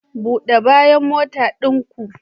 Bude bayan motan ɗin ku.